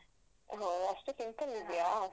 ಹೊ ಅಷ್ಟು simple ಇದ್ಯಾ?